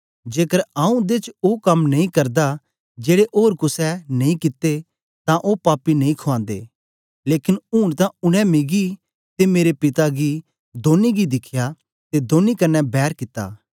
जेकर आऊँ उंदे च ओ कम नेई करदा जेड़े ओर कुसे ने नेई कित्ते तां ओ पापी नेई खवाँदे लेकन ऊन तां उनै मिगी ते मेरे पिता गी दौनी गी दिखया ते दौनी कन्ने बैर कित्ती